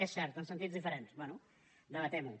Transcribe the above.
és cert en sentits diferents bé debatem ho